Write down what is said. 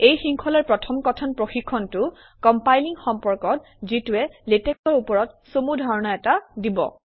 এই শৃংখলাৰ প্ৰথম কথন প্ৰশিক্ষণটো কমপাইলিং সম্পৰ্কত যিটোৱে লেটেক্সৰ ওপৰত চমু ধাৰণা এটা দিব